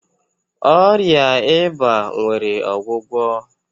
Ọrịa eba nwere ọgwụgwọ.